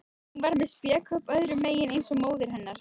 Hún var með spékopp öðrum megin eins og móðir hennar.